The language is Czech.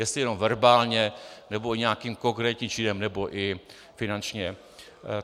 Jestli jenom verbálně, nebo nějakým konkrétním činem, nebo i finančně.